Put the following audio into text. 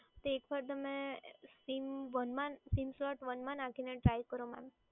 તો એકવાર તમે સીમ વનમાં sim slot one માં નાખીને ટ્રાય કરો મેડમ.